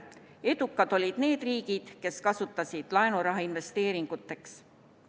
Edukad olid need riigid, kes kasutasid laenuraha investeeringuteks.